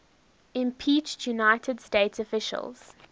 impeached united states officials